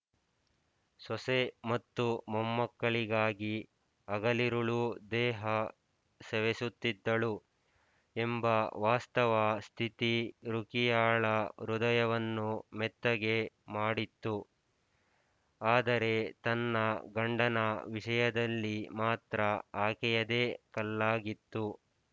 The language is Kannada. ಸೊಸೆ ಮತ್ತು ಮೊಮ್ಮಕ್ಕಳಿಗಾಗಿ ಹಗಲಿರುಳೂ ದೇಹ ಸವೆಸುತ್ತಿದ್ದಳು ಎಂಬ ವಾಸ್ತವ ಸ್ಥಿತಿ ರುಖಿಯಾಳ ಹೃದಯವನ್ನು ಮೆತ್ತಗೆ ಮಾಡಿತ್ತು ಆದರೆ ತನ್ನ ಗಂಡನ ವಿಷಯದಲ್ಲಿ ಮಾತ್ರ ಆಕೆಯೆದೆ ಕಲ್ಲಾಗಿತ್ತು